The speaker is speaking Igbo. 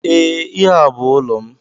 Ee ihe a bú ụlọ m